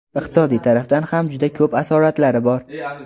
Iqtisodiy tarafdan ham juda ko‘p asoratlari bor.